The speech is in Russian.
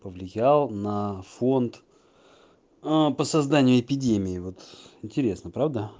повлиял на фонд а по созданию эпидемии вот интересно правда